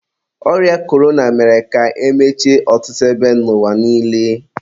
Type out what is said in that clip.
ọrịa korona mere ka emechie ọtụtụ ebe n'ụwa niile.